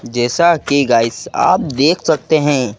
जैसा कि गाइस आप देख सकते है।